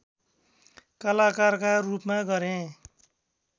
कलाकारका रूपमा गरे